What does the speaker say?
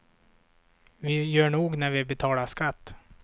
Vi gör nog när vi betalar skatt.